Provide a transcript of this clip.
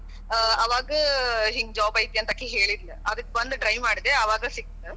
ಆ ಆವಾಗ ಹಿಂಗ job ಐತಿ ಅಂತ ಅಕಿ ಹೇಳಿದ್ಳ. ಅದಕ್ ಬಂದ್ try ಮಾಡದೇ ಹಂಗ ಸಿಕ್ತ.